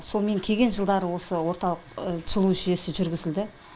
сол мен келген жылдары осы орталық жылу жүйесі жүргізілді